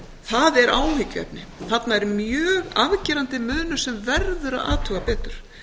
það er áhyggjuefni þarna er mjög afgerandi munur sem verður að athuga betur